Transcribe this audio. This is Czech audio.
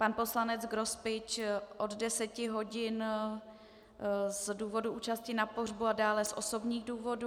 Pan poslanec Grospič od 10 hodin z důvodu účasti na pohřbu a dále z osobních důvodů.